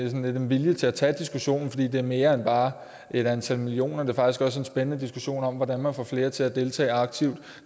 en vilje til at tage diskussionen fordi det er mere end bare et antal millioner det er faktisk også en spændende diskussion om hvordan man får flere til at deltage aktivt